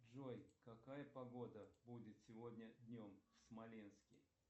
джой какая погода будет сегодня днем в смоленске